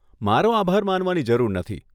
મારો આભાર માનવાની જરૂર નથી.